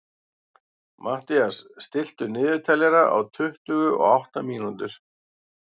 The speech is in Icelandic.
Mathías, stilltu niðurteljara á tuttugu og átta mínútur.